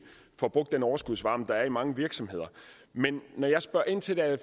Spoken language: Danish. får brugt den overskudsvarme der er i mange virksomheder men når jeg spørger ind til det er